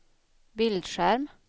bildskärm